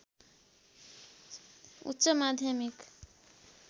उच्च माध्यमिक